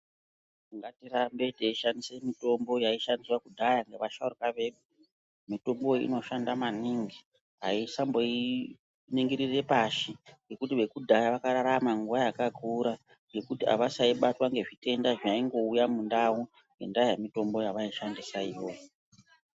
Ngatirambe teishandise mitombo yaishandiswa kudhaya ngevasharukwa edu. Mitombo iyi inoshanda maningi aisamboiningirire pashi ngekuti vekudhaya vakararama nguwa yakakura ngekuti avasaibatwa ngezvitenda zvaingouya mundau ngendaa yemitombo yavaishandisa iyoyo.